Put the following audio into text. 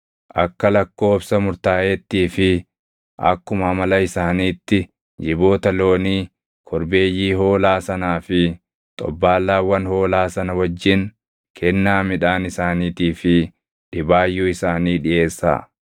Akka lakkoobsa murtaaʼeettii fi akkuma amala isaaniitti jiboota loonii, korbeeyyii hoolaa sanaa fi xobbaallaawwan hoolaa sana wajjin kennaa midhaan isaaniitii fi dhibaayyuu isaanii dhiʼeessaa.